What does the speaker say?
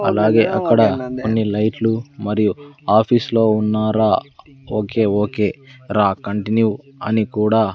అలాగే అక్కడ కొన్ని లైట్లు మరియు ఆఫీసులో ఉన్నారా ఓకే ఓకే రా కంటిన్యూ అని కూడా.